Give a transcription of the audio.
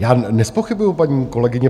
Já nezpochybňuju, paní kolegyně